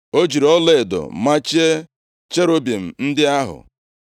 O jiri ọlaedo machie cherubim ndị ahụ.